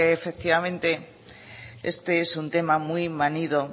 efectivamente este es un tema muy manido